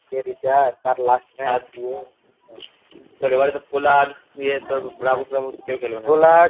কে Richard তার last তোর এবারে তো পোলার্ড ইয়ে তোর ব্রাভো ফ্যাভো কেউ খেলবে না